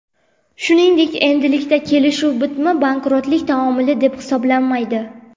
Shuningdek, endilikda kelishuv bitimi bankrotlik taomili deb hisoblanmaydi.